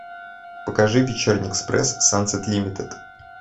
покажи вечерний экспресс сансет лимитед